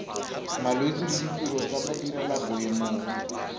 malwetse le ditiro tsa badirelaboemong